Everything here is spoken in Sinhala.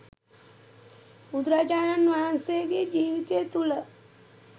බුදුරජාණන් වහන්සේගේ ජීවිතය තුළ